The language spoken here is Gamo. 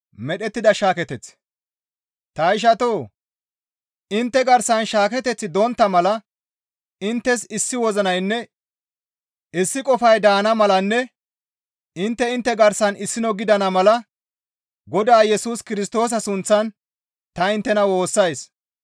Ta ishatoo! Intte garsan shaaketeththi dontta mala inttes issi wozinaynne issi qofay daana malanne intte intte garsan issino gidana mala Godaa Yesus Kirstoosa sunththan ta inttena woossays.